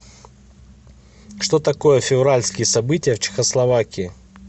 что такое февральские события в чехословакии